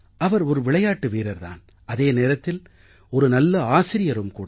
அவர் ஒரு விளையாட்டு வீரர் தான் அதே நேரத்தில் ஒரு நல்ல ஆசிரியரும் கூட